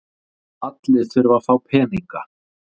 Allir þurfa að fá peninga.